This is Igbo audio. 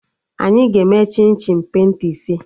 Anyị ga-eme chim chim penta ise